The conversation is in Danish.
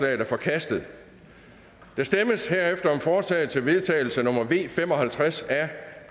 er forkastet der stemmes herefter om forslag til vedtagelse nummer v fem og halvtreds